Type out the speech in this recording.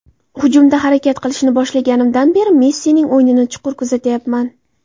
Hujumda harakat qilishni boshlaganimdan beri Messining o‘yinini chuqur kuzatyapman.